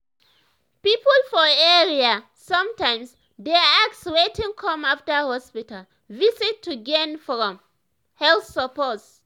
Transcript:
people for area sometimes dey ask wetin come after hospital visit to gain from health support.